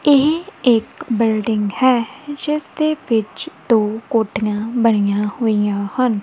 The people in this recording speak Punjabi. ਇਹ ਇੱਕ ਬਿਲਡਿੰਗ ਹੈ ਜਿਸਦੇ ਵਿੱਚ ਦੋ ਕੋੱਠੀਆਂ ਬਣੀਆਂ ਹੋਈਆਂ ਹਨ।